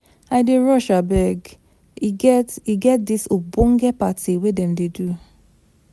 I dey rush abeg, e get e get dis ogbonge party dem dey do.